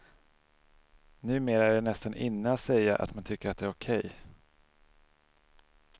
Numera är det nästan inne att säga att man tycker att det är okej.